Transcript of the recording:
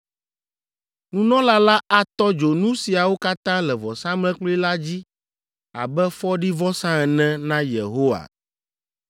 Nunɔla la atɔ dzo nu siawo katã le vɔsamlekpui la dzi abe fɔɖivɔsa ene na Yehowa.